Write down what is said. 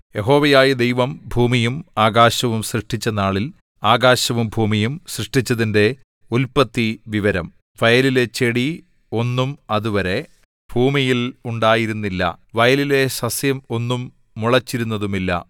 യഹോവയായ ദൈവം ഭൂമിയും ആകാശവും സൃഷ്ടിച്ച നാളിൽ ആകാശവും ഭൂമിയും സൃഷ്ടിച്ചതിന്റെ ഉല്പത്തിവിവരം വയലിലെ ചെടി ഒന്നും അതുവരെ ഭൂമിയിൽ ഉണ്ടായിരുന്നില്ല വയലിലെ സസ്യം ഒന്നും മുളച്ചിരുന്നതുമില്ല